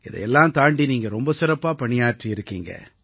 இதையெல்லாம் தாண்டி நீங்க ரொம்ப சிறப்பா பணியாற்றி இருக்கீங்க